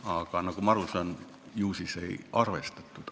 Aga nagu ma aru saan, ju siis seda ei arvestatud.